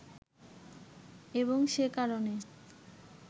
এবং সে কারণে